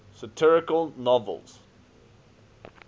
satirical novels